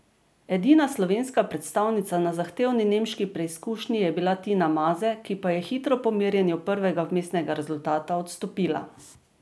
Edina slovenska predstavnica na zahtevni nemški preizkušnji je bila Tina Maze, ki pa je hitro po merjenju prvega vmesnega rezultata odstopila.